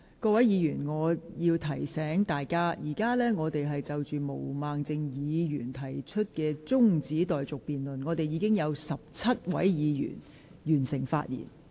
各位議員，我要提醒大家，本會現正就毛孟靜議員提出的辯論中止待續議案進行辯論，至今已有17位議員發言。